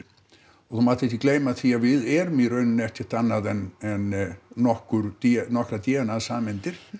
og þú mátt ekki gleyma því að við erum í raun ekkert annað en en nokkrar d nokkrar d n a sameindir